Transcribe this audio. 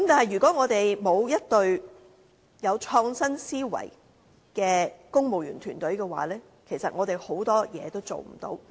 如果我們沒有一隊具創新思維的公務員團隊的話，其實很多事情也做不到。